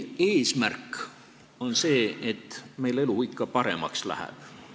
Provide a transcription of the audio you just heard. Eesmärk on see, et meil elu ikka paremaks läheks.